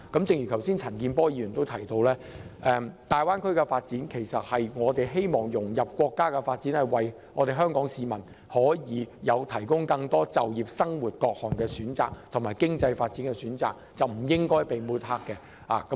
正如陳健波議員剛才指出，香港參與大灣區建設，旨在融入國家的發展，為香港市民提供更多就業機會、生活環境及經濟發展的選擇，故此不應該遭到抹黑。